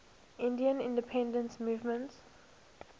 indian independence movement